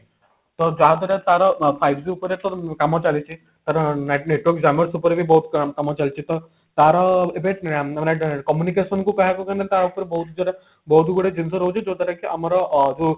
ତ ଯାହାଦ୍ୱାରା ତାର five G ଉପରେ ତାର କାମ ଚାଲିଛି ତାର network jammer ଉପରେ ବି ବହୁତ କାମ ଚାଲିଛି ତ ତାର ଏବେ ମାନେ communication କୁ କହିବାକୁ ଗଲେ ତା ଉପରେ ବହୁତ ବହୁତ ଗୁଡେ ଜିନିଷ ରହୁଛି ଯା ଦ୍ଵାରା କି ଆମର ଅ ଯୋଉ